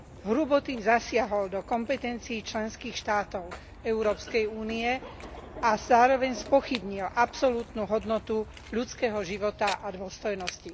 Hrubo tým zasiahol do kompetencií členských štátov Európskej únie a zároveň spochybnil absolútnu hodnotu ľudského života a dôstojnosti.